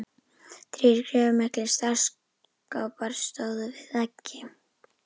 Þrír gríðarmiklir stálskápar stóðu við veggi.